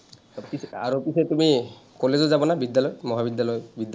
পিছে আৰু পিছে তুমি কলেজো যাবানে বিদ্যালয়, মহাবিদ্যালয়, বিদ্যালয়